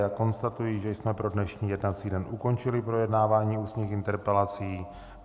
Já konstatuji, že jsme pro dnešní jednací den ukončili projednávání ústních interpelací.